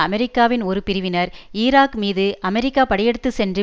அமெரிக்காவின் ஒரு பிரிவினர் ஈராக் மீது அமெரிக்கா படையெடுத்து சென்று